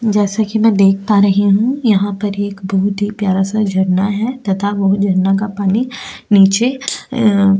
जैसा कि मैं देख पा रहे हैं यहां पर एक बहुत ही प्यारा सा झरना है तथा वो झरना का पानी नीचे --